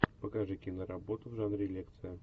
покажи киноработу в жанре лекция